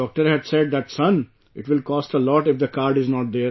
The doctor had said that son, it will cost a lot if the card is not there